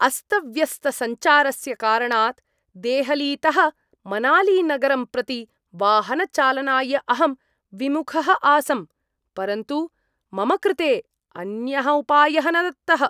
अस्तव्यस्तसञ्चारस्य कारणात् देहलीतः मनालीनगरं प्रति वाहनचालनाय अहं विमुखः आसं परन्तु मम कृते अन्यः उपायः न दत्तः।